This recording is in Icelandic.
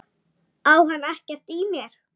Á hann ekkert í mér?